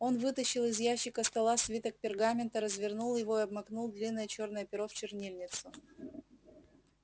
он вытащил из ящика стола свиток пергамента развернул его и обмакнул длинное чёрное перо в чернильницу